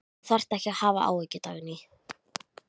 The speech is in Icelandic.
Þú þarft ekki að hafa áhyggjur, Dagný.